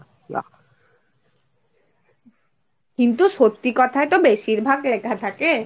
কিন্তু সত্যি কথায়ই তো বেশিরভাগ লেখা থাকে।